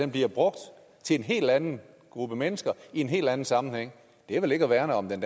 bliver brugt til en hel anden gruppe mennesker i en hel anden sammenhæng det er vel ikke at værne om den